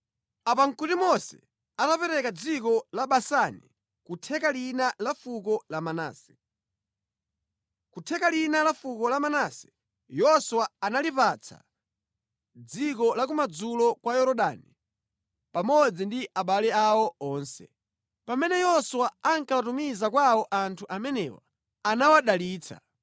Apa nʼkuti Mose atapereka dziko la Basani ku theka lina la fuko la Manase. Koma theka lina la fuko la Manase Yoswa analipatsa dziko la kumadzulo kwa Yorodani pamodzi ndi abale awo onse. Pamene Yoswa ankawatumiza kwawo anthu amenewa, anawadalitsa,